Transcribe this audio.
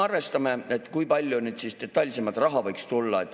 Arvestame detailsemalt, kui palju raha võiks tulla.